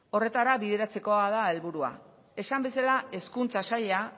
horretara bideratzeko da helburua esan bezala hezkuntza saila